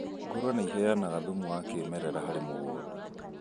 Ngũrwe nĩiheanaga thumu wa kĩmerera harĩ mũgũnda